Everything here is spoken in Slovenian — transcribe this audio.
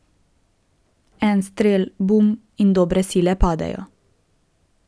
En strel, bum, in dobre sile padejo.